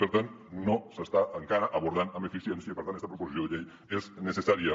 per tant no s’està encara abordant amb eficiència i per tant esta proposició de llei és necessària